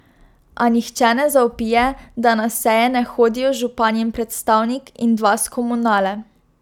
A nihče ne zavpije, da na seje ne hodijo županjin predstavnik in dva s Komunale.